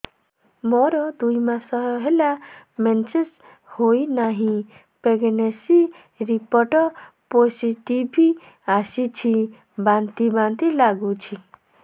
ମୋର ଦୁଇ ମାସ ହେଲା ମେନ୍ସେସ ହୋଇନାହିଁ ପ୍ରେଗନେନସି ରିପୋର୍ଟ ପୋସିଟିଭ ଆସିଛି ବାନ୍ତି ବାନ୍ତି ଲଗୁଛି